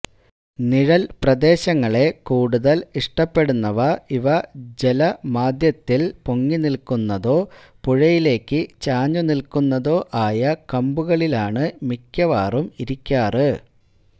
നിഴൽപ്രദേശങ്ങളെ കൂടുതൽ ഇഷ്ടപ്പെടുന്നവ ഇവ ജലമാധ്യത്തിൽ പൊങ്ങിനിൽക്കുന്നതോ പുഴയിലേക്കു ചാഞ്ഞുനിൽക്കുന്നതോ ആയ കംബുകളിലാണ് മിക്കവാറും ഇരിക്കാറ്